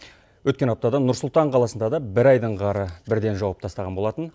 өткен аптада нұрсұлтан қаласында да бір айдың қары бірден жауып тастаған болатын